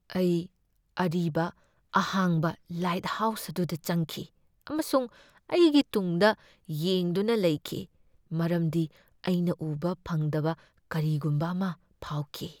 ꯑꯩ ꯑꯔꯤꯕ ꯑꯍꯥꯡꯕ ꯂꯥꯏꯠꯍꯥꯎꯁ ꯑꯗꯨꯗ ꯆꯪꯈꯤ, ꯑꯃꯁꯨꯡ ꯑꯩꯒꯤ ꯇꯨꯡꯗ ꯌꯦꯡꯗꯨꯅ ꯂꯩꯈꯤ ꯃꯔꯝꯗꯤ ꯑꯩꯅ ꯎꯕ ꯐꯪꯗꯕ ꯀꯔꯤꯒꯨꯝꯕ ꯑꯃ ꯐꯥꯎꯈꯤ꯫